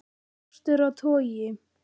Skortur á togi